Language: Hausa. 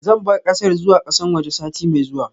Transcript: Zan bar kasar zuwa kasan waje sati mai zuwa.